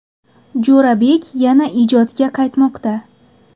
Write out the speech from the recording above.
Jo‘rabek yana ijodga qaytmoqda.